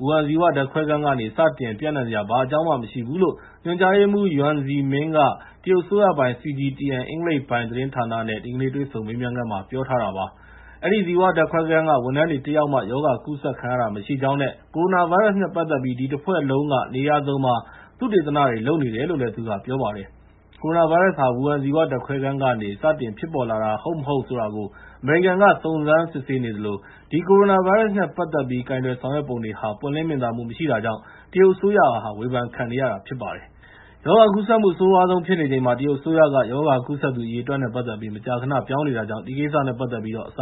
ဝူဟန် ဇီဝဓာတ်ခွဲခန်းကနေ စတင်ပျံ့နှံ့စရာ ဘာအကြောင်းမှ မရှိဘူးလို့ ညွှန်ကြားရေးမှူး Yuan Zhiming က တရုတ်အစိုးရပိုင် CGTN အင်္ဂလိပ်ပိုင်း သတင်းဌာနနဲ့ ဒီကနေ့ တွေ့ဆုံမေးမြန်းခန်းမှာ ပြောထားပါတယ်။ အဲဒီ ဇီဝဓာတ်ခွဲခန်းက ဝန်ထမ်းတွေ တယောက်မှ ရောဂါကူးစက်ခံခဲ့ရတာ မရှိကြောင်းနဲ့ ကိုရိုနာဗိုင်းရပ်စ်နဲ့ ပတ်သက်ပြီး ဒီအဖွဲ့တခုလုံးက နေရာစုံမှာ သုတေသနတွေ လုပ်နေတယ်လို့ သူက ပြောပါတယ်။ ကိုရိုနာဗိုင်းရပ်စ်ဟာ ဝူဟန် ဇီဝဓာတ်ခွဲခန်းကနေ စတင်ဖြစ်ပေါ်လာတာ ဟုတ်မဟုတ်ဆိုတာကို အမေရိကန်က စုံစမ်းစစ်ဆေးနေသလို ဒီ ကိုရိုနာဗိုင်းရပ်စ်နဲ့ ပတ်သက်ပြီး ကိုင်တွယ်ဆောင်ရွက်ပုံတွေဟာ ပွင့်လင်းမြင်သာမှု မရှိတာကြောင့် တရုတ်အစိုးရဟာ ဝေဖန်ခံနေရတာ ဖြစ်ပါတယ်။ ရောဂါကူးစက်မှု အဆိုးရွားဆုံး ဖြစ်နေချိန်မှာ တရုတ်အစိုးရက ရောဂါကူးစက်သူ အရေအတွက်နဲ့ ပတ်သက်ပြီး မကြာခဏ ပြောင်းနေတာကြောင့် ဒီကိစ္စနဲ့ ပတ်သက်ပြီး အစ